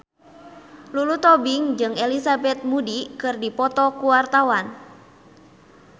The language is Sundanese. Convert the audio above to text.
Lulu Tobing jeung Elizabeth Moody keur dipoto ku wartawan